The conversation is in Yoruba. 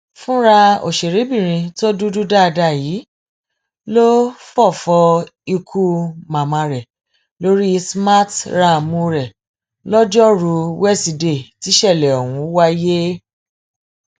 fúnra òṣèrébìnrin tó dúdú dáadáa yìí ló fọfọ ikú màmá rẹ lórí smarthraàmù rẹ lojoruu wesidee tísẹlẹ ọhún wáyé